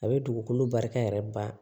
A bɛ dugukolo barika yɛrɛ ba